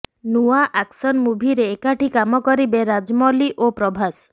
ନୂଆ ଆକ୍ସନ ମୁଭିରେ ଏକାଠି କାମ କରିବେ ରାଜମୌଲି ଓ ପ୍ରଭାସ୍